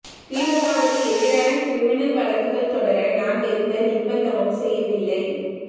திமுகவுக்கு எதிரான கிரிமினல் வழக்குகள் தொடர நான் எந்த நிர்பந்தமும் செய்யவில்லை